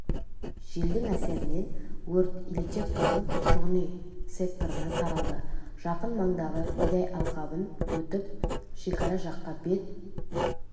желдің әсерінен өрт ильичевканың тұрғын-үй секторына таралды жақын маңдағы бидай алқабын өтіп шекара жаққа бет